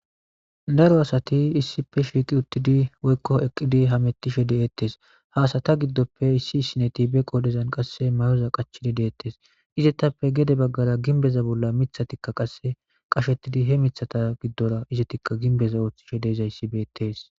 daro asati issipe shiiqi uttidi woykko eqqidi hamettishe deettes haasata giddoppe issi sineti be qodezan qasse mayoza qachidi deettes izettappe gede baggara ginbeza bolla mithatikka qasse qashettidi he mithata giddora izetikka ginbeza ooththishe deezayssi beettees